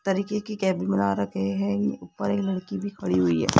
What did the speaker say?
तरीके की केबिन बना रखे है ऊपर एक लड़की भी खड़ी हुई है।